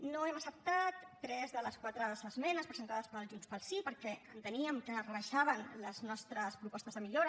no hem acceptat tres de les quatre esmenes presentades per junts pel sí perquè enteníem que rebaixaven les nostres propostes de millora